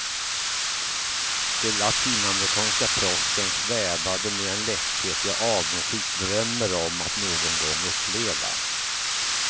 De latinamerikanska proffsen svävade med en lätthet jag avundsjukt drömmer om att någon gång uppleva.